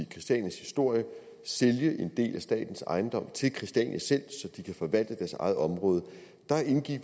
christianias historie og sælge en del af statens ejendomme til christiania selv så de kan forvalte deres eget område